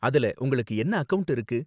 அதுல உங்களுக்கு என்ன அக்கவுண்ட் இருக்கு?